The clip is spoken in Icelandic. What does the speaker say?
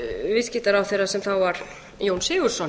viðskiptaráðherra sem þá var jón sigurðsson